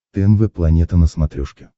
тнв планета на смотрешке